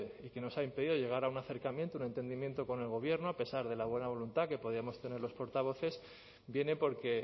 y que nos ha impedido llegar a un acercamiento a un entendimiento con el gobierno a pesar de la buena voluntad que podíamos tener los portavoces viene porque